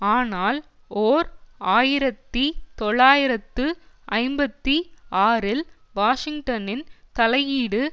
ஆனால் ஓர் ஆயிரத்தி தொள்ளாயிரத்து ஐம்பத்தி ஆறில் வாஷிங்டனின் தலையீடு